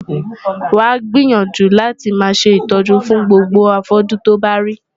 Wàá gbìyànjú láti máa ṣe ìtọ́jú fún gbogbo afọ́jú tí o bá rí.